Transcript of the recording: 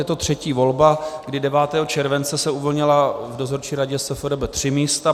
Je to třetí volba, kdy 9. července se uvolnila v dozorčí radě SFRB tři místa.